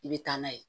I bɛ taa n'a ye